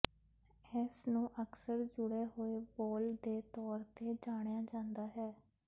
ਇਸ ਨੂੰ ਅਕਸਰ ਜੁੜੇ ਹੋਏ ਬੋਲ ਦੇ ਤੌਰ ਤੇ ਜਾਣਿਆ ਜਾਂਦਾ ਹੈ